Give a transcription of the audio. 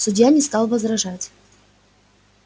судья не стал возражать